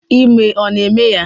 Ime ọ na-eme ya?